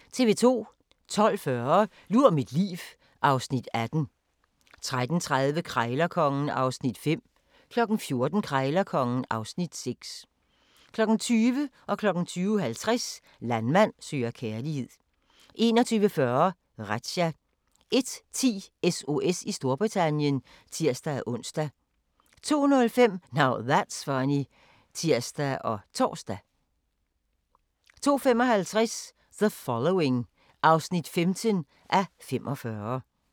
12:40: Lur mit liv (Afs. 18) 13:30: Krejlerkongen (Afs. 5) 14:00: Krejlerkongen (Afs. 6) 20:00: Landmand søger kærlighed 20:50: Landmand søger kærlighed 21:40: Razzia 01:10: SOS i Storbritannien (tir-ons) 02:05: Now That's Funny (tir og tor) 02:55: The Following (5:45)